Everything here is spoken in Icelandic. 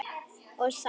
og saft.